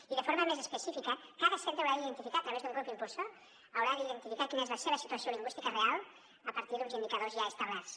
i de forma més específica cada centre haurà d’identificar a través d’un grup impulsor quina és la seva situació lingüística real a partir d’uns indicadors ja establerts